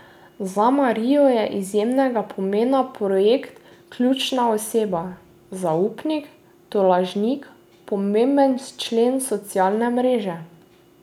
Za Marijo je izjemnega pomena projekt Ključna oseba, zaupnik, tolažnik, pomemben člen socialne mreže.